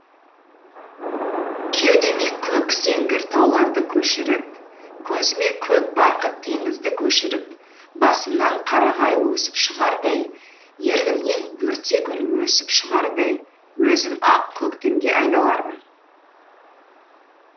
кеудеме көк сеңгір тауларды көшіріп көзіме көк барқыт теңізді көшіріп басымнан қарағай өсіп шығардай ернімнен бөртегүл өсіп шығардай өзім ақ көктемге айналармын